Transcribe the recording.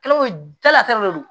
Kalo jala ta de don